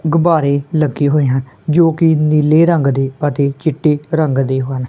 ਗੁਬਾਰੇ ਲੱਗੇ ਹੋਏ ਹਨ ਜੋ ਕਿ ਨੀਲੇ ਰੰਗ ਦੇ ਅਤੇ ਚਿੱਟੇ ਰੰਗ ਦੇ ਹਨ।